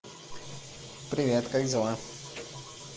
привет как дела